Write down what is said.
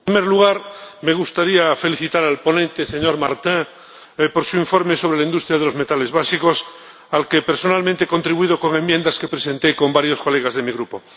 Señor Presidente, en primer lugar, me gustaría felicitar al ponente, señor Martin, por su informe sobre la industria de los metales básicos, al que personalmente he contribuido con enmiendas que presenté con varios diputados de mi grupo.